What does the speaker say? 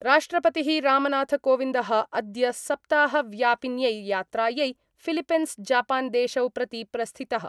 राष्ट्रपतिः रामनाथकोविन्दः अद्य सप्ताहव्यापिन्यै यात्रायै फिलिपिंसजापानदेशौ प्रति प्रस्थितः।